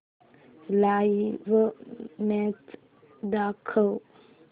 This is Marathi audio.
लाइव्ह मॅच दाखव